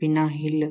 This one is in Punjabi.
ਬਿਨਾ ਹਿੱਲ